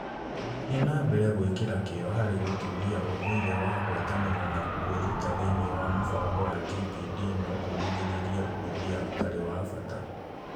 Gũthiĩ na mbere gwĩkĩra kĩyo harĩ gũtũũria ũndũire wa ngwatanĩro na kwĩruta thĩinĩ wa mũbango wa TPD no kũgirĩrĩrie ũhũthia ũtarĩ wa bata.